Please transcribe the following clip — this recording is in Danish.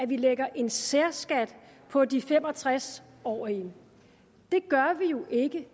vi lægger en særskat på de fem og tres årige det gør vi jo ikke